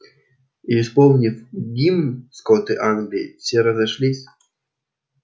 и исполнив гимн скоты англии все разошлись